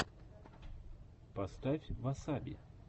поставь васаби